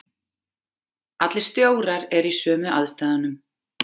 Allir stjórar eru í sömu aðstæðunum.